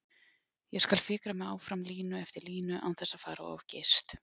Ég skal fikra mig áfram línu eftir línu án þess að fara of geyst.